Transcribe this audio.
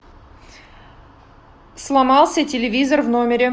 сломался телевизор в номере